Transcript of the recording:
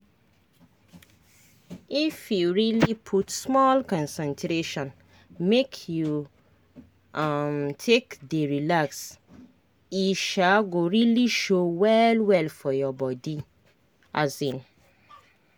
if you really put small concentration make you um take dey relax e um go really show well well for your body um